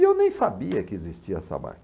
E eu nem sabia que existia essa máquina.